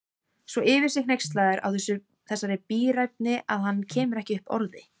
Svo yfir sig hneykslaður á þessari bíræfni að hann kemur ekki upp orði.